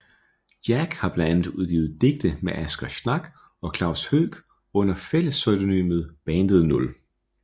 Jac har blandt andet udgivet digte med Asger Schnack og Klaus Høeck under fællespseudonymet Bandet Nul